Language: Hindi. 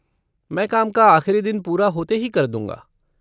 मैं काम का आख़िरी दिन पूरा होते ही कर दूँगा।